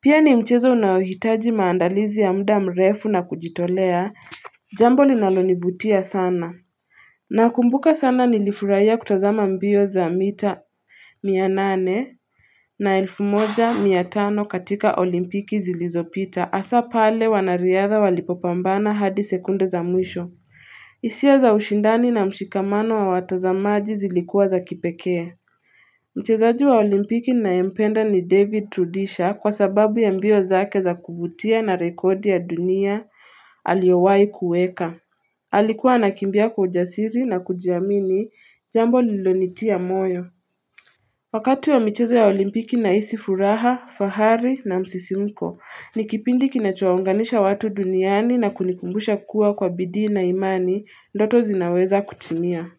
Pia ni mchezo unaohitaji maandalizi ya muda mrefu na kujitolea jambo linalonivutia sana Nakumbuka sana nilifurahiya kutazama mbio za mita mia nane na elfu moja mia tano katika olimpiki zilizopita. Hasa pale wanariadha walipopambana hadi sekunde za mwisho. Hisia za ushindani na mshikamano wa watazamaji zilikua za kipekee. Mchezaji wa olimpiki ninayempenda ni David Rudisha kwa sababu ya mbio zake za kuvutia na rekodi ya dunia aliyowahi kuweka. Alikua anakimbia kwa ujasiri na kujiamini jambo lililonitia moyo. Wakati wa michezo ya olimpiki nahisi furaha, fahari na msisimko, ni kipindi kinachowaunganisha watu duniani na kunikumbusha kua kwa bidii na imani, ndoto zinaweza kutimia.